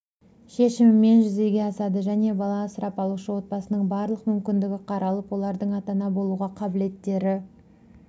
шешімімен жүзеге асады және бала асырап алушы отбасының барлық мүмкіндігі қаралып олардың ата-ана болуға қабілеттері